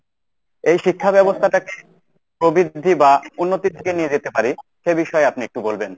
এই শিক্ষাব্যবস্থাটাকে প্রবৃদ্ধি বা উন্নতির দিকে নিয়ে যেতে পারে সে বিষয়ে আপনি একটু বলবেন।